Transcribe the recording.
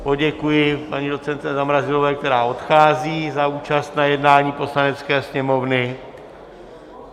Poděkuji paní docentce Zamrazilové, která odchází, za účast na jednání Poslanecké sněmovny.